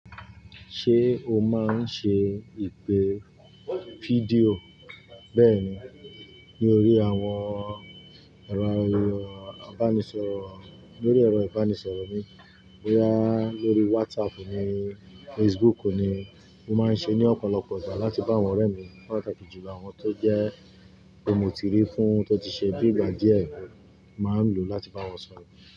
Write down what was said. Ṣé o máa ń ṣe ìpè fídíò bẹ́ẹ̀ni ní orí àwọn ẹ̀rọ ìbánisọ̀rọ̀, lórí ẹ̀rọ ìbánisọ̀rọ̀ mi bóyá lórí WhatsApp ni Facebook ni mo máa ń ṣe ní ọ̀pọ̀lọpọ̀ ìgbà láti bá àwọn ọ̀rẹ́ mi pàtàkì jùlọ àwọn tó jẹ́ mo ti rí fún tó ti ṣe bí ìgbà díẹ̀ máa ń lò láti bá wọn sọ̀rọ̀.